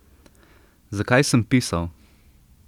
Zakaj sem pisal?